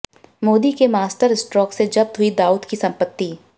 मोदी के मास्टरस्ट्रोक से जब्त हुई दाऊद की संपत्ति